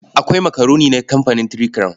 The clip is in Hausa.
Akwai makaroni na kamfanin Three Crown.